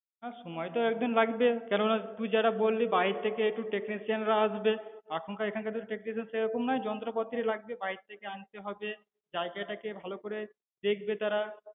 হ্যাঁ সময় তো একদিন লাগবে কেননা তুই যেটা বললি বাইরে থেকে একটু technician রা আসবে, এখনকার তো technician সেইরকম নাই যন্ত্রপতিও লাগবে বাইরে থেকে আনতে হবে, জায়গাটাকে ভালো করে দেখবে তারা